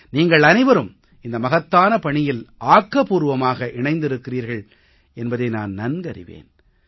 நீங்கள் அனைவரும் இந்த மகத்தான பணியில் ஆக்கப்பூர்வமாக இணைந்திருக்கிறீர்கள் என்பதை நான் நன்கறிவேன்